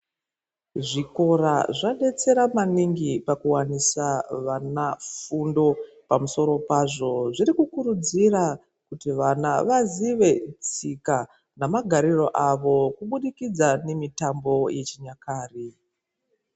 Zvikora zvabetsira maningi pakuvanisa vana fundo. Pamusoro pazvo zvirikukurudzira kuti vana vasive tsika namagariro avo, kubudikidza nemitambo yechinyakare.